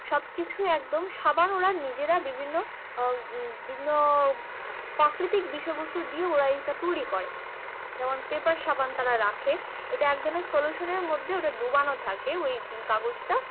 সবকিছু একদম সাবান ওরা বিভিন্ন বিভিন্ন প্রাকৃতিক বিষয়বস্তু দিয়ে ওরা ইটা তৈরী করে যেমন পেপার সাবান তারা রাখে ওটা একটা সল্যুশন এর মধ্যে ডোবানো থাকে ওই কাগজটা